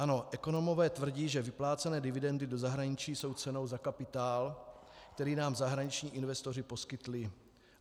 Ano, ekonomové tvrdí, že vyplácené dividendy do zahraničí jsou cenou za kapitál, který nám zahraniční investoři poskytli.